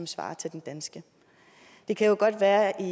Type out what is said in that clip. svarer til den danske det kan jo godt være at